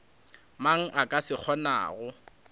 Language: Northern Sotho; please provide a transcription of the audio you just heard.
mang a ka se kgonago